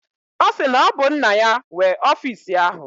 Ọ sị na ọ bụ nna ya nwe ọfisi ahụ